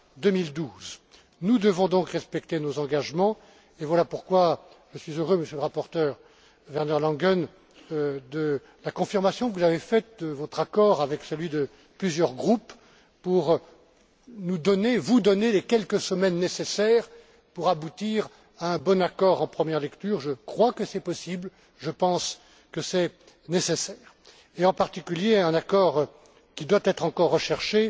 2012. Nous devons donc respecter nos engagements et voilà pourquoi je suis heureux, Monsieur le rapporteur Werner Langen, de la confirmation que vous avez faite de votre accord avec plusieurs groupes, pour vous donner les quelques semaines nécessaires pour aboutir à un bon accord en première lecture je crois que c'est possible, je pense que c'est nécessaire. En particulier, un accord qui doit encore être recherché